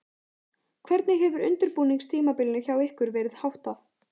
Hvernig hefur undirbúningstímabilinu hjá ykkur verið háttað?